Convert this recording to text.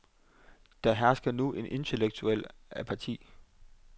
Der hersker nu en intellektuel apati.